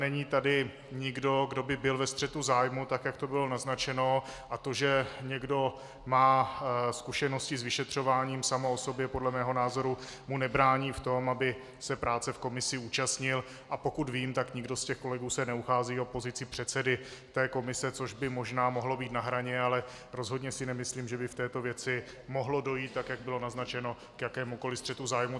Není tady nikdo, kdo by byl ve střetu zájmů, tak jak to bylo naznačeno, a to, že někdo má zkušenosti s vyšetřováním, samo o sobě podle mého názoru mu nebrání v tom, aby se práce v komisi účastnil, a pokud vím, tak nikdo z těch kolegů se neuchází o pozici předsedy té komise, což by možná mohlo být na hraně, ale rozhodně si nemyslím, že by v této věci mohlo dojít, tak jak bylo naznačeno, k jakémukoliv střetu zájmů.